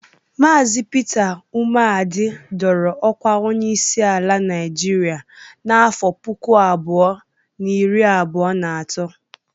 Maazi Pita Umeadị dọrọ ọkwa onyeisi ala Naịjịrịa n'afọ puku abụọ na iri abụọ na atọ